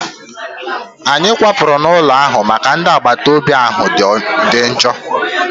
Anyị kwapụrụ n'ụlọ ahụ maka na ndị agbataobi ahụ dị njọ